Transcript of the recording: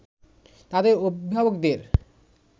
তাদের অভিভাবকদের